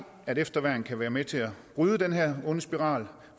at efterværn kan være med til at bryde den her onde spiral